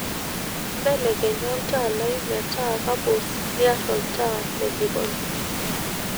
belekenya olntaa lai metaa kapuz niar olntaa le jikoni